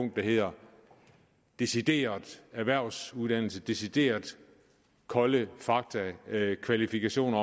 der hedder decideret erhvervsuddannelse decideret kolde fakta og kvalifikationer